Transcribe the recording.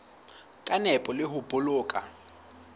ka nepo le ho boloka